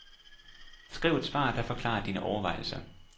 Skriv et svar, der forklarer dine overvejelser.